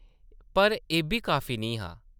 पर एʼब्बी काफी निं हा।